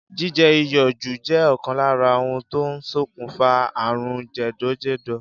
Jíje̩ iyò̩ jù jé̩ ò̩kan lára ohun tó ń sokùnfà àrùn jè̩dò̩jè̩dò̩